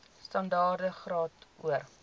standaard graad or